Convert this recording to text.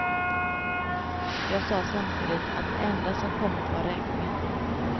Jag sa samtidigt att det enda som kommit var räkningen.